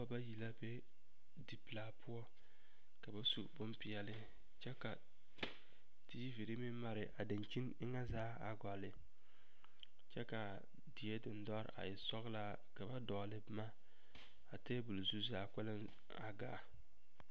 Noba bayi la be dipelaa poɔ ka ba su bompeɛle kyɛ ka tiiviri meŋ mare a dankyini eŋɛ zaa a gɔlle kyɛ k,a die dendɔre a e sɔglaa ka ba dɔgle boma a tabol zu zaa kpɛlɛŋ a gaa.